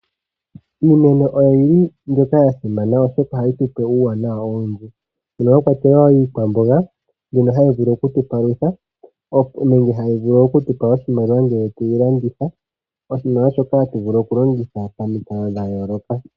Iimeno oyi li mbyoka ya simana oshoka oyi na uuwanawa owundji mono mwa kwatelwa iikwamboga ndjono hayi vulu okutupalutha nenge hayi vulu okutupa oshimaliwa ngele tweyi landitha. Oshimaliwa shoka hatu vulu okulongitha pamikalo dha yooloka.